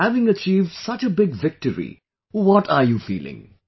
And having achieved such a big victory, what are you feeling